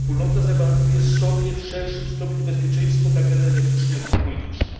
Wspólnota zagwarantuje sobie w większym stopniu bezpieczeństwo, tak energetyczne, jak i polityczne.